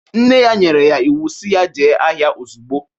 Nne ya nyere ya iwu si ya jee ahịa ozugbo!